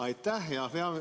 Aitäh!